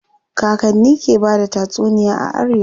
Kakanni ke bada tatsuniya a arewa.